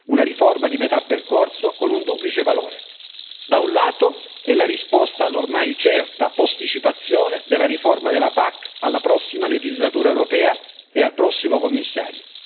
Una riforma di metà percorso con un duplice valore da un lato, è la risposta all'ormai certa posticipazione della riforma della PAC alla prossima legislatura europea e al prossimo Commissario